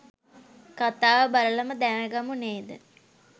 කථාව බලලම දැනගමු නේද?